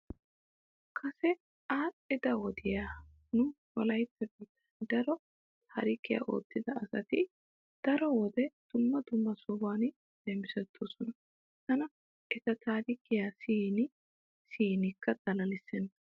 Kase aadhdhida wodiya nu wolaytta biittan daro taarikiya oottida asati daro wode dumma dumma sohan leemisettoosona. Tana eta taarikee siyin siyinkka xalalissenna.